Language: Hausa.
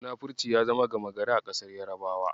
Munafurci ya zama gama gari a ƙasar Yarabawa.